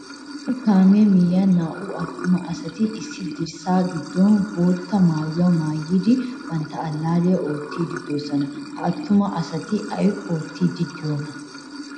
Issi kaame miyiyan naa'u attuma asati issi dirssa giddon boottaa maayuwaa maayidi bantta allaliya oottidi deosona. Ha attuma asati ay oottidi deiyona?